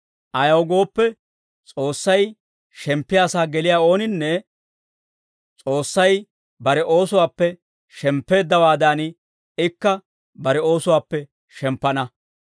Ayaw gooppe, S'oossay shemppiyaa sa'aa geliyaa ooninne, S'oossay bare oosuwaappe shemppeeddawaadan, ikka bare oosuwaappe shemppana.